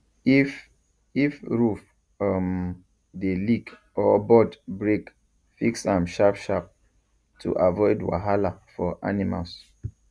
if if roof um dey leak or board break fix am sharp sharp to avoid wahala for animals